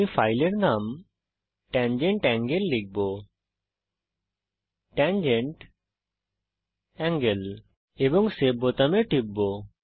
আমি ফাইলের নাম tangent সার্কেল লিখব এবং সেভ বাটনে টিপব